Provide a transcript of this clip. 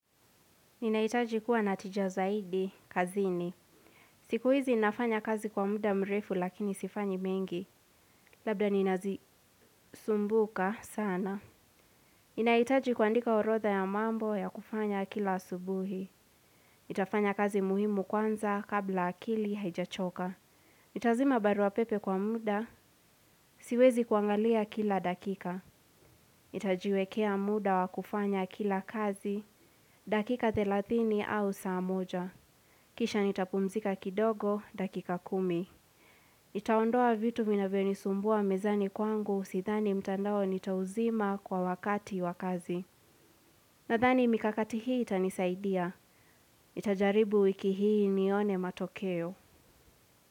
Ninaitaji kuwa na tija zaidi kazini. Siku hizi nafanya kazi kwa muda mrefu lakini sifanyi mengi. Labda ninazisumbuka sana. Inaitaji kuandika orotha ya mambo ya kufanya kila subuhi. Nitafanya kazi muhimu kwanza kabla akili haijachoka. Nitazima barua pepe kwa muda, siwezi kuangalia kila dakika. Nitajiwekea muda wa kufanya kila kazi, dakika telatini au saa moja. Kisha nitapumzika kidogo, dakika kumi. Nitaondoa vitu vinavyonisumbuwa mezani kwangu, sithani mtandao nitauzima kwa wakati wakazi. Nathani mikakati hii itanisaidia. Nitajaribu wiki hii nione matokeo.